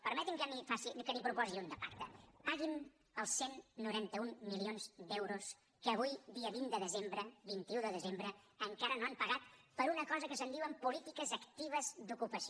permeti’m que n’hi proposi un de pacte paguin els cent i noranta un milions d’euros que avui dia vint un de desembre encara no han pagat per a una cosa que se’n diu polítiques actives d’ocupació